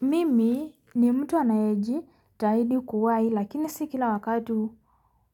Mimi ni mtu anae ji taidi kuwai lakini sikila wakatu